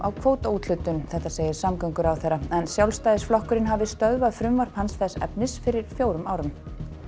á kvótaúthlutun segir samgönguráðherra en Sjálfstæðisflokkurinn hafi stöðvað frumvarp hans þess efnis fyrir fjórum árum